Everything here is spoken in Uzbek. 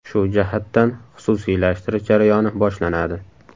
Shu jihatdan xususiylashtirish jarayoni boshlanadi.